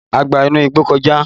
A gba inú igbó kọjá